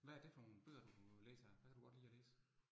Hvad er det for nogle bøger, du læser. Hvad kan du godt lide at læse?